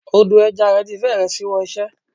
Odò ẹja rẹ̀ ti fẹ́rẹ̀ ṣíwọ́ iṣẹ́.